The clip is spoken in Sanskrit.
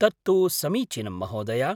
तत्तु समीचीनं महोदया।